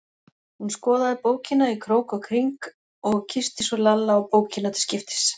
Hún skoðaði bókina í krók og kring og kyssti svo Lalla og bókina til skiptis.